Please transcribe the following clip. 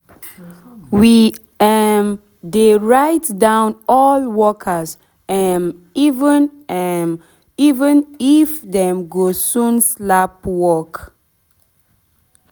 we um de write down all workers um even um even if dem go soon stop work